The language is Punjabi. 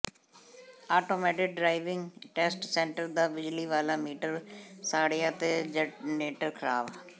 ਆਟੋਮੈਟਿਡ ਡਰਾਈਵਿੰਗ ਟੈੱਸਟ ਸੈਂਟਰ ਦਾ ਬਿਜਲੀ ਵਾਲਾ ਮੀਟਰ ਸੜਿਆ ਤੇ ਜਰਨੇਟਰ ਖ਼ਰਾਬ